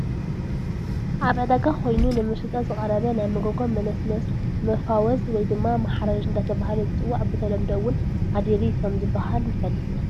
ኣብ ዕዳጋ ኮይኑ ንመሸጣ ዝቀረበ ናይ መጎጎ መነስነስ መፋወዝ ወይ ድማ ማሕረር እድተበሃለ ዝፅዋዕ ብተለምዶ እውን ኣዲሪ ከም ዝበሃል ንፈልጥ ኢና።